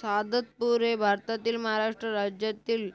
सहादतपूर हे भारतातील महाराष्ट्र राज्यातील